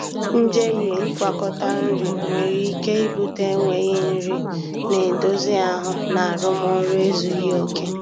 Njehie ịgwakọta nri nwere ike ibute enweghị nri na-edozi ahụ na arụmọrụ ezughi oke